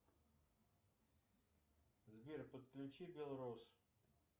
сбер подключи белрос